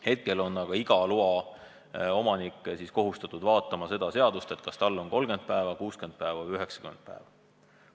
Hetkel on aga iga loaomanik kohustatud sellest seadusest järele vaatama, kas tal on aega 30 päeva, 60 päeva või 90 päeva.